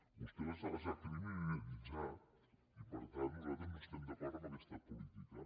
vostè els ha criminalitzat i per tant nosaltres no estem d’acord amb aquesta política